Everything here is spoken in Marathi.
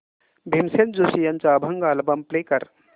भीमसेन जोशी यांचा अभंग अल्बम प्ले कर